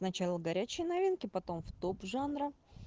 с начало горячие новинки потом в топ жанра